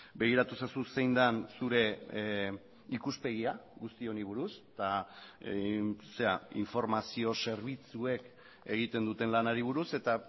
begiratu ezazu zein den zure ikuspegia guzti honi buruz eta informazio zerbitzuek egiten duten lanari buruz eta